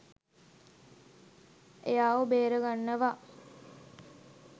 එයාව බේරාගන්නවා.